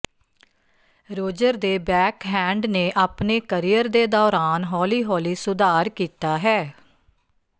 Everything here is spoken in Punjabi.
ਰੋਜਰ ਦੇ ਬੈਕਹੈਂਡ ਨੇ ਆਪਣੇ ਕਰੀਅਰ ਦੇ ਦੌਰਾਨ ਹੌਲੀ ਹੌਲੀ ਸੁਧਾਰ ਕੀਤਾ ਹੈ